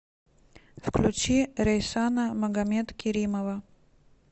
включи рейсана магомедкеримова